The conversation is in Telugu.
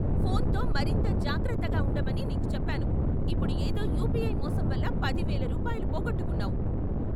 ఫోన్తో మరింత జాగ్రత్తగా ఉండమని నీకు చెప్పాను.ఇప్పుడు ఏదో యుపిఐ మోసం వల్ల పది వేల రూపాయలు పోగొట్టుకున్నావు.